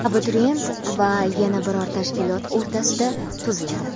abituriyent va yana biror tashkilot o‘rtasida tuziladi.